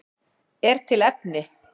Er til efni?